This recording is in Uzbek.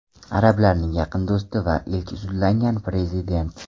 Arablarning yaqin do‘sti va ilk sudlangan prezident.